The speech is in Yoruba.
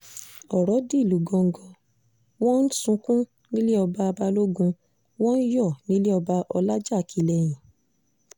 ọrọ̀ di ìlú gángan n wọ́n ń sunkún nílé ọba balógun wọ́n ń yọ̀ nílẹ̀ ọba ọlajákilẹ́hìn